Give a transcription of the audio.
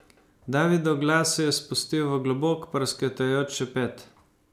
Davidov glas se je spustil v globok, prasketajoč šepet.